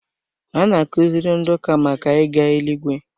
A na-akuziri ndị ụka màkà ịga eluigwe